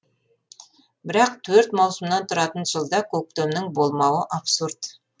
бірақ төрт маусымнан тұратын жылда көктемнің болмауы абсурд